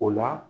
O la